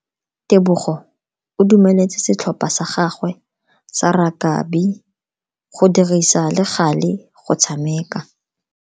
Tebogo o dumeletse setlhopha sa gagwe sa rakabi go dirisa le gale go tshameka.